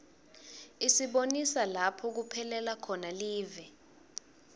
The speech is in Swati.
isibonisa lapho kuphelela khona live